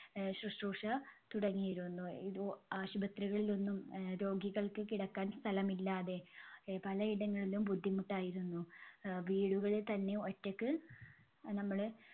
ആഹ് ശുശ്രൂഷ തുടങ്ങിയിരുന്നു. ആശുപത്രികളിലൊന്നും അഹ് രോഗികൾക്ക് കിടക്കാൻ സ്ഥലമില്ലാതെ അഹ് പലയിടങ്ങളിലും ബുദ്ധിമുട്ടായിരുന്നു. അഹ് വീടുകളിൽ തന്നെ ഒറ്റക്ക് നമ്മള്